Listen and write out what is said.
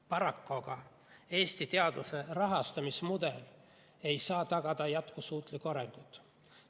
Paraku aga ei saa Eesti teaduse rahastamise mudel tagada jätkusuutlikku arengut.